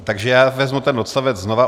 Takže já vezmu ten odstavec znovu.